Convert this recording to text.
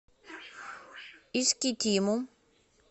искитиму